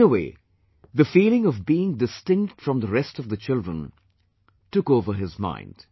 In a way, the feeling of being distinct from the rest of the children, took over his mind